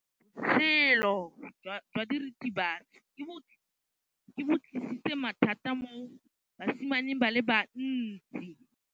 Botshelo jwa diritibatsi ke bo tlisitse mathata mo basimaneng ba bantsi.